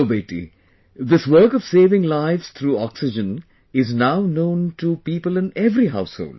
So beti, this work of saving lives through oxygen is now known to people in every house hold